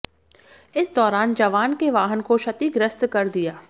इस दौरान जवान के वाहन को क्षतिग्रस्त कर दिया